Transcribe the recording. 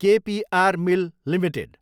के P R mill Ltd